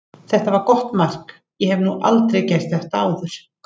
Þetta var gott mark, ég hef nú aldrei gert þetta áður.